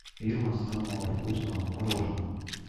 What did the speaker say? фирма самого вкусного мороженого